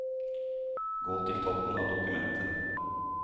Gå til toppen av dokumentet